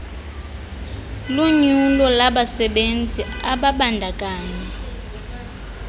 lunyulo labasebenzi ababandakanya